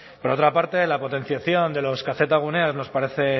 por otra parte la potenciación de los kzguneas nos parece